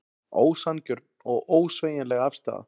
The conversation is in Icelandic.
Ósanngjörn og ósveigjanleg afstaða